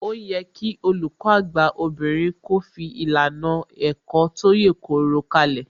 Ó yẹ kí Olùkọ́ àgbà obìnrin kó fi ìlànà ẹ̀kọ́ tó yèkoro kalẹ̀